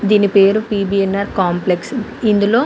దీని పేరు PBNR complex . ఇందులో --